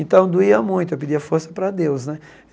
Então doía muito, eu pedia força para Deus, né?